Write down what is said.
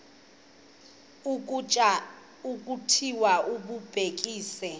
ukutya okuthile bakucekise